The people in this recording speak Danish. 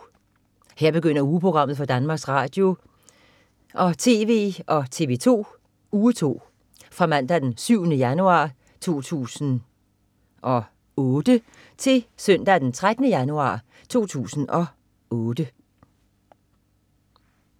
Her begynder ugeprogrammet for Danmarks Radio- og TV og TV2 Uge 2 Fra Mandag den 7. januar 2007 Til Søndag den 13. januar 2007